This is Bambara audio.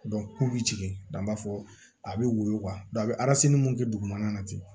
k'u bɛ jigin nka b'a fɔ a bɛ woyo a bɛ mun kɛ dugumana na ten